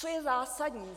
Co je zásadní?